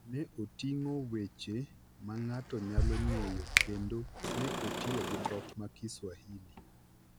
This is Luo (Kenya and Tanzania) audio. ne oting’o weche ma ng’ato nyalo ng’eyo kendo ne otiyo gi dhok ma Kiswahili.